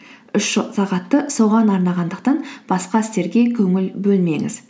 үш сағатты соған арнағандықтан басқа істерге көңіл бөлмеңіз